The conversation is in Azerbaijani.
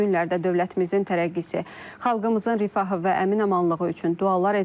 Bu günlərdə dövlətimizin tərəqqisi, xalqımızın rifahı və əminamanlığı üçün dualar edilir.